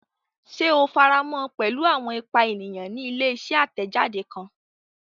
Ṣe o faramọ pẹlu awọn ipa eniyan ni ile-iṣẹ atẹjade kan?